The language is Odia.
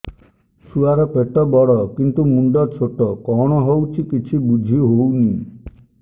ଛୁଆର ପେଟବଡ଼ କିନ୍ତୁ ମୁଣ୍ଡ ଛୋଟ କଣ ହଉଚି କିଛି ଵୁଝିହୋଉନି